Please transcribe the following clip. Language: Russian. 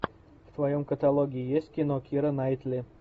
в твоем каталоге есть кино кира найтли